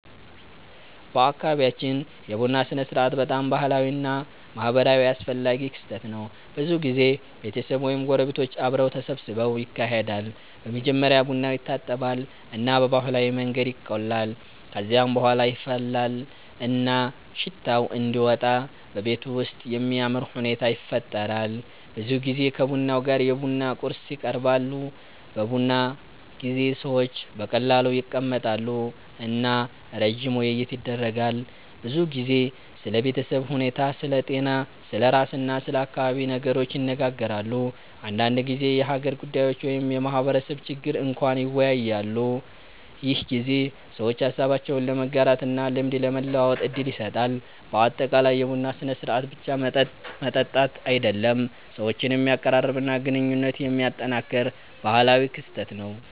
በአካባቢያችን የቡና ሥርዓት በጣም ባህላዊ እና ማህበራዊ አስፈላጊ ክስተት ነው። ብዙ ጊዜ ቤተሰብ ወይም ጎረቤቶች አብረው ተሰብስበው ይካሄዳል። በመጀመሪያ ቡናው ይታጠባል እና በባህላዊ መንገድ ይቆላል። ከዚያ በኋላ ይፈላል እና ሽታው እንዲወጣ በቤቱ ውስጥ የሚያምር ሁኔታ ይፈጠራል። ብዙ ጊዜ ከቡና ጋር የቡና ቁርስ ይቀርባሉ። በቡና ጊዜ ሰዎች በቀላሉ ይቀመጣሉ እና ረጅም ውይይት ይደረጋል። ብዙ ጊዜ ስለ ቤተሰብ ሁኔታ፣ ስለ ጤና፣ ስለ ስራ እና ስለ አካባቢ ነገሮች ይነጋገራሉ። አንዳንድ ጊዜ የሀገር ጉዳዮች ወይም የማህበረሰብ ችግር እንኳን ይወያያሉ። ይህ ጊዜ ሰዎች ሀሳባቸውን ለመጋራት እና ልምድ ለመለዋወጥ እድል ይሰጣል። በአጠቃላይ የቡና ሥርዓት ብቻ መጠጥ መጠጣት አይደለም፣ ሰዎችን የሚያቀራርብ እና ግንኙነት የሚያጠናክር ባህላዊ ክስተት ነው።